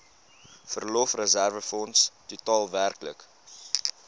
verlofreserwefonds totaal werklik